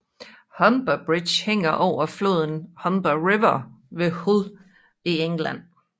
Humber Bridge hænger over floden Humber River ved Hull i England